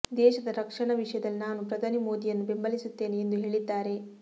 ದೇಶದ ರಕ್ಷಣಾ ವಿಷಯದಲ್ಲಿ ನಾನು ಪ್ರಧಾನಿ ಮೋದಿಯನ್ನು ಬೆಂಬಲಿಸುತ್ತೆನೆ ಎಂದು ಹೇಳಿದ್ದಾರೆ